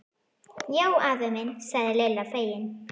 Já afi minn sagði Lilla fegin.